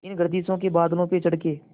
इन गर्दिशों के बादलों पे चढ़ के